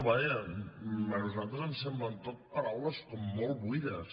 vaja a nosaltres ens semblen tot paraules com molt buides